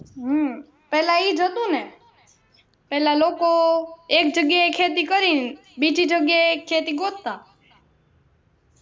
હમ પહેલા ઈ જ હતું ને પહેલા લોકો એક જગ્યા એ ખેતી કરી બીજી જગ્યા એ ખેતી ગોતતા